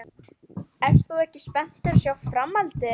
Ert þú ekki spenntur að sjá framhaldið?